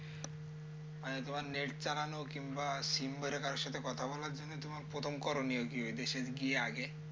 মানে তোমার net চালানো কিংবা sim ভরে কারো সাথে কথা বলার জন্য তোমার প্রথম করণীয় কি ওইটাই কি আগে